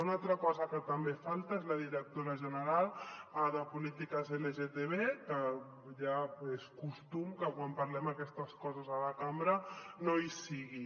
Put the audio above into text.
una altra cosa que també falta és la directora general de polítiques lgtb que ja és costum que quan parlem d’aquestes coses a la cambra no hi sigui